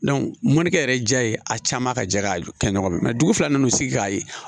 mɔnnikɛ yɛrɛ jɛ ye a caman ka jɛ ka kɛ ɲɔgɔn dugu fila nana sigi k'a ye